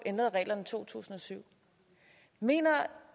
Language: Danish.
ændrede reglerne i to tusind og syv mener